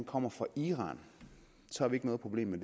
kommer fra iran har vi ikke noget problem med